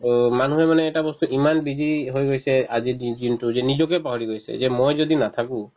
অ, মানুহে মানে এটা বস্তু ইমান busy হৈ গৈছে আজিৰ দিন~ দিনটো যে নিজকে পাহৰি গৈছে যে মই যদি নাথাকো